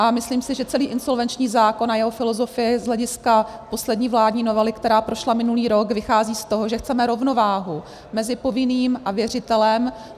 A myslím si, že celý insolvenční zákon a jeho filozofie z hlediska poslední vládní novely, která prošla minulý rok, vychází z toho, že chceme rovnováhu mezi povinným a věřitelem.